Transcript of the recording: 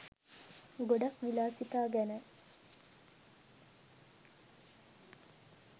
ගොඩක් විලාසිතා ගැන